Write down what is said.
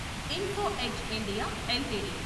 info Edge India LTD